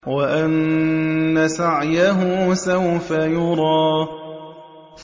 وَأَنَّ سَعْيَهُ سَوْفَ يُرَىٰ